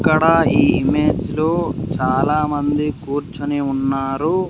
ఇక్కడా ఈ ఇమేజ్లో చాలామంది కూర్చొని ఉన్నారు.